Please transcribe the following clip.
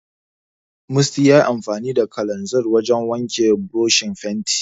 Musty yayi amfani da kalanzir wajen wanke burushin fenti.